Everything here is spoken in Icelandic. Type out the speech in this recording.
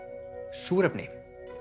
súrefni